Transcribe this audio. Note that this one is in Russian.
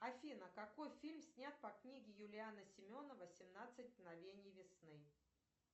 афина какой фильм снят по книге юлиана семенова семнадцать мгновений весны